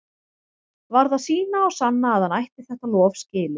Varð að sýna og sanna að hann ætti þetta lof skilið.